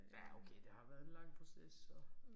Ja okay det har været en lang proces så